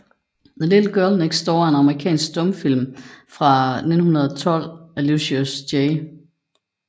The Little Girl Next Door er en amerikansk stumfilm fra 1912 af Lucius J